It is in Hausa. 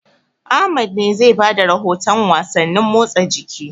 Ahmad ne zai ba da rahotan wasannin motsa jiki.